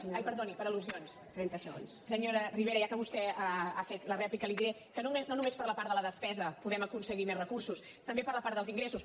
ai perdoni per al senyora ribera ja que vostè ha fet la rèplica li diré que no només per la part de la despesa podem aconseguir més recursos també per la part dels ingressos